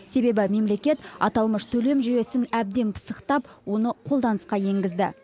себебі мемлекет аталмыш төлем жүйесін әбден пысықтап оны қолданысқа енгізді